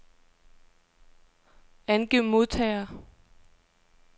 Angiv modtagere.